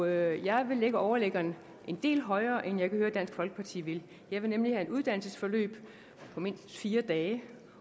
jeg vil lægge overliggeren en del højere end jeg kan høre at dansk folkeparti vil jeg vil nemlig have et uddannelsesforløb på mindst fire dage